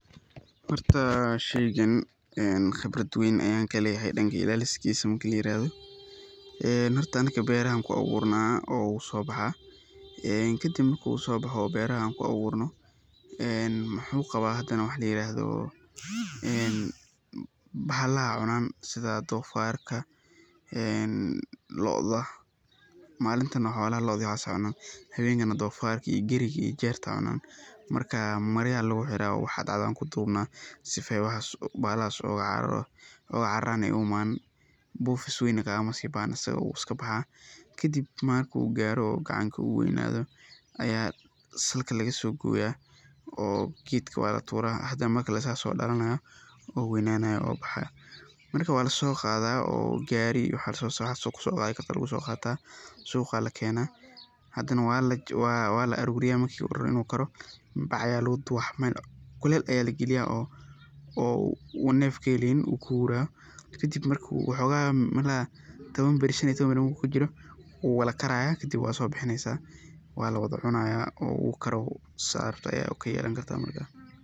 Horta sheygan khibrad weyn ayaan kaleeyahay dankeeyga, horta anaga beeraha ayaan ku abuurana oo wuu soo baxaa, kadib markuu suu boxo oo beeraha aan ku abuurano, muxuu qabaa hadane wax layiraahdo bahalaha ayaa cunaan sida doofarka, looda, malintana looda ayaa cunta habeenkina doofarka, geriga iyo jeerta ayaa cunta, marka marya ayaa lagu xiraa oo waxaa dacdaa aan kuduubna si aay bahalhaas ooga cararaan oo aay u imaanin, buufis weyn kaagama sii baahno wuu iska baxaa, kadib markuu gaaro oo gacanka uu weynaado, salka ayaa laga soo gooya oo geedka waa latuura, hadane mar kale asaga ayaa soo dalanaaya oo weynanaya oo baxaaya, marka waa lasoo qaada oo gaari lasoo saara, suuqa lakeena, hadane waa la aruuriya bac ayaa lagu duuba meel kuleel ayaa lagaliyaa oo uu neef kaheleynin uu kuhuuraayo kadib marki uu xooga meelaha taban ila shan iyo taban beri markuu kujiro, wuu wada kaaraaya kadib waad soo bixineysa waa lacunaaya oo wuu kare saad rabtid ayaa kayelaneysa Marka.